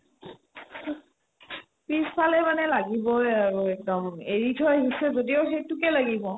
পিছফালে মানে লাগিবয়ে আৰু একদম এৰি থই আহিছে যদিও সেইটোকে লাগিব